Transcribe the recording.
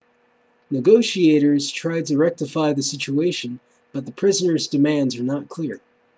negotiators tried to rectify the situation but the prisoners' demands are not clear